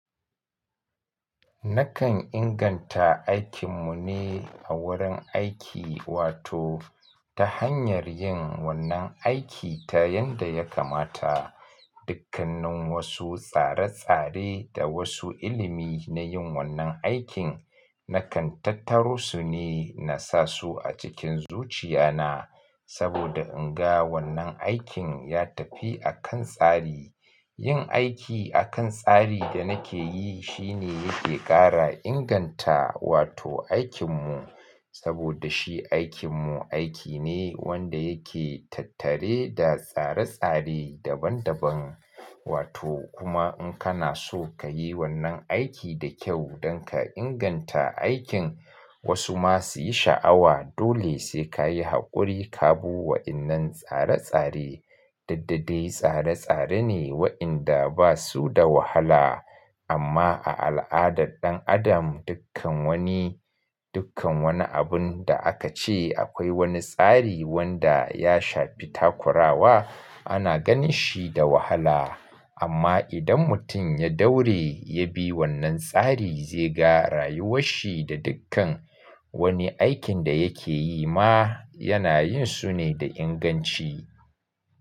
Nakan inganta aikin mu ne a wurin aiki, wato ta hanyar yin wannan aiki ta yanda ya kamata. Dukkanin wasu tsare-tsare da wasu ilimi na yin wannan aikin, na kan tattaro su ne na sa su a cikin zuciya na. Saboda in ga wannan aikin ya tafi a kan tsari. Yin aiki a kan tsari da nake yi shi ne yake ƙara inganta, wato aikin mu. Saboda shi aikin mu aiki ne wanda yake tattare da tsare-tsare daban-daban. Wato kuma in kana so ka yi wannan aiki da kyau don ka inganta aikin, wasu ma su yi sha'awa, dole sai ka yi haƙuri ka bu wa in nan tsare-tsare. Duk da dai tsare-tsare ne waɗanda ba su da wahala. Amma a al'adar ɗan adam, dukkan wani, dukkan wani abun da aka ce akwai wani tsari wanda ya shafi takurawa, ana ganin shi da wahala. Amma idan mutum ya daure ya bi wannan tsari, zai ga rayuwar shi da dukkan wani aikin da yake yi ma yana yin su ne da inganci.